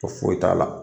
Ko foyi t'a la